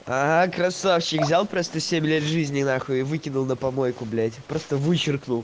аа красавчик взял просто семь лет жизни нахуй выкинул на помойку блять просто вычеркнул